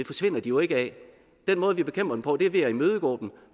forsvinder de jo ikke af den måde vi bekæmper dem på er ved at imødegå dem